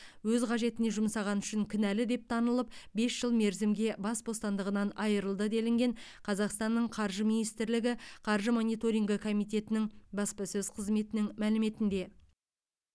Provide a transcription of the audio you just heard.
өз қажетіне жұмсағаны үшін кінәлі деп танылып бес жыл мерзімге бас бостандығынан айырылды делінген қазақстанның қаржы министрлігі қаржы мониторингі комитетінің баспасөз қызметінің мәліметінде